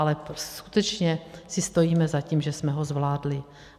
Ale skutečně si stojíme za tím, že jsme ho zvládli.